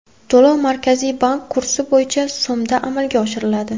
To‘lov Markaziy bank kursi bo‘yicha so‘mda amalga oshiriladi.